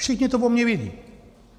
Všichni to o mě vědí.